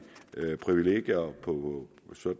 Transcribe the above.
privilegier